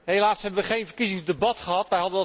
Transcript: Helaas hebben we geen verkiezingsdebat gehad.